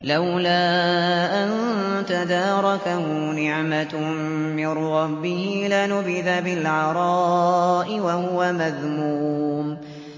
لَّوْلَا أَن تَدَارَكَهُ نِعْمَةٌ مِّن رَّبِّهِ لَنُبِذَ بِالْعَرَاءِ وَهُوَ مَذْمُومٌ